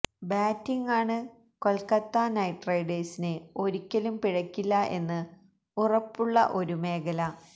ബാറ്റിംഗാണ് Kolkata knight റൈഡേഴ്സിന് ഒരിക്കലും പിഴക്കില്ല എന്ന് ഉറപ്പുള്ള ഒരു മേഖല